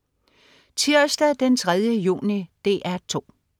Tirsdag den 3. juni - DR 2: